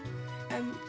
en